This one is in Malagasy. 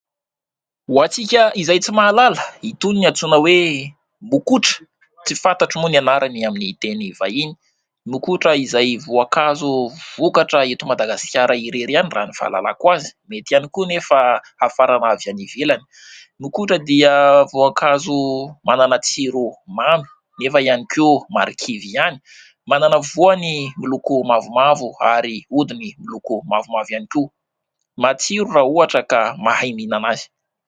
Ho antsika izay tsy mahalala, itony no antsoina hoe Mokotra. Tsy fantatro moa ny anarany amin'ny teny vahiny (...). Mokotra izay voankazo vokatra eto Madagasikara irery ihany raha ny fahalalako azy ; mety ihany koa nefa hafarana avy any ivelany. Mokotra dia voankazo manana tsiro mamy nefa ihany koa marikivy ihany , manana voany miloko mavomavo , ary odiny miloko mavomavo ihany koa. Matsiro raha ohatra ka mahay minana azy.